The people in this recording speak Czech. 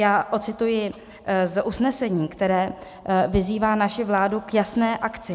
Já odcituji z usnesení, které vyzývá naši vládu k jasné akci.